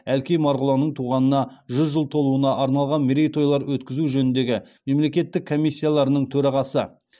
әлкей марғұланның туғанына жүз жыл толуына арналған мерейтойлар өткізу жөніндегі мемлекеттік комиссияларының төрағасы